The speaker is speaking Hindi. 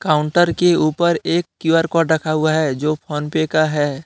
काउंटर के ऊपर एक क्यू_आर कोड रखा हुआ है जो फोन पे का है।